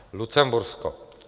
Lucembursko.